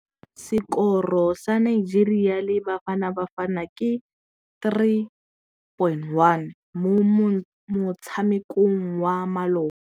Sekôrô sa Nigeria le Bafanabafana ke 3-1 mo motshamekong wa malôba.